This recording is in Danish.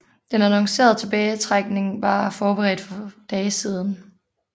Den annoncerede tilbagetrækning var blevet forberedt for dage siden